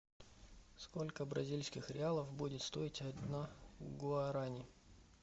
сколько бразильских реалов будет стоить одна гуарани